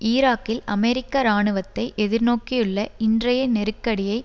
ஈராக்கில் அமெரிக்க இராணுவத்தை எதிர்நோக்கியுள்ள இன்றைய நெருக்கடியை